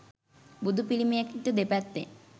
බුදු පිළිමයට දෙපැත්තෙන්